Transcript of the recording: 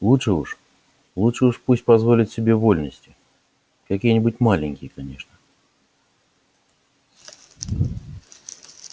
лучше уж лучше уж пусть позволит себе вольности какие-нибудь маленькие конечно